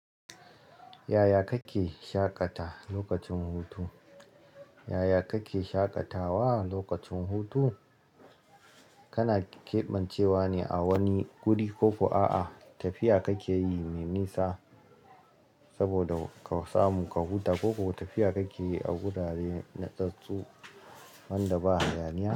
Yaya kake shaƙatawa lokacin hutu? Yaya kake shaƙatawa lokacin hutu? Kana keɓancewa ne a wani guri ko ko a'a, tafiya kake yi mai nisa saboda ka samu ka huta ko tafiya kake yi wurare na tsatstsu wanda ba hayaniya.